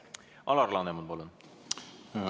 Alar Laneman, palun!